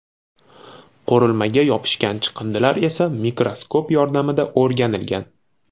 Qurilmaga yopishgan chiqindilar esa mikroskop yordamida o‘rganilgan.